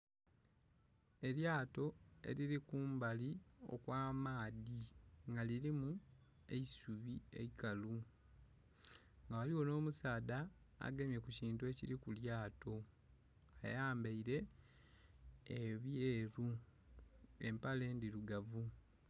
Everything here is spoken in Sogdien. Elyato erili kumbali okwa maadhi nga kilimu eisubi eikalu ghaligho nho musaadha agemye ku kintu ekili ku lyato, ayambaire ebyeru empale ndhirugavu.